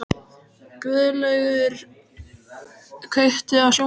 Guðlaugur, kveiktu á sjónvarpinu.